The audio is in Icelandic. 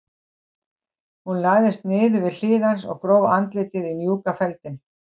Hún lagðist niður við hlið hans og gróf andlitið í mjúkan feldinn.